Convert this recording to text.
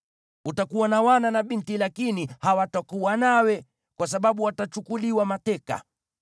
Utakuwa na wana na binti lakini hawatakuwa nawe, kwa sababu watachukuliwa mateka.